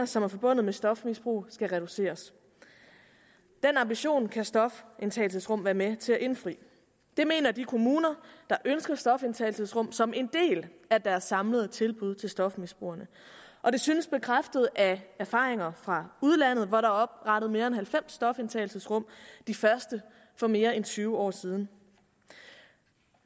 som er forbundet med stofmisbrug skal reduceres den ambition kan stofindtagelsesrum være med til at indfri det mener de kommuner der ønsker stofindtagelsesrum som en del af deres samlede tilbud til stofmisbrugerne og det synes bekræftet af erfaringer fra udlandet hvor der er oprettet mere end halvfems stofindtagelsesrum de første for mere end tyve år siden